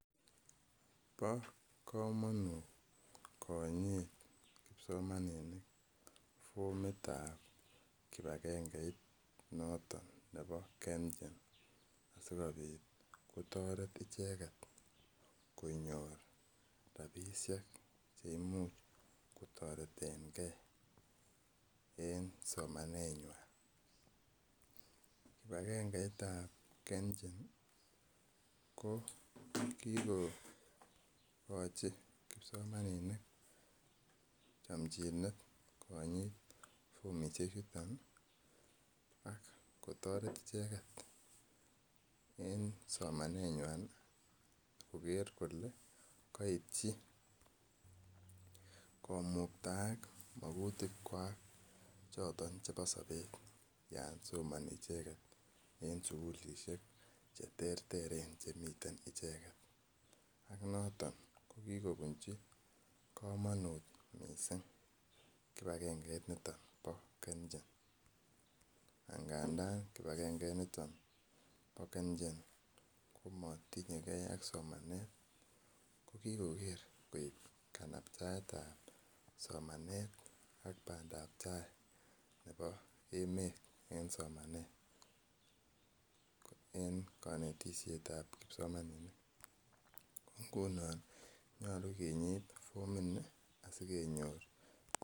Bo kamanut konyit kipsomaninik fomitab kibagengeit noton nebo kenchen. Asikobit kotaret icheket konyor rabisiek chetareten ke en somanet nyuan. Kibagengeit tab kenchen ko kikokoi chamchinet kipsomaninik konyit fomit nito asikotoret icheket en somanet nyuan koker kole kaityi komuktaak magutik kuak choton chebo sabet Yoon somani icheket en sugulisiek cheterteren chemiten icheket ko noton kikobunchi kamanut missing kibakenge nito bo kenchen angadaan kibakengeit nito bo kenchen ko matinye ak somanet ko kikoib kanaptaet en somanet en kanetisosietab kipsomaninik. Ng'unon nyalu kinyite fomit ni asikonyor.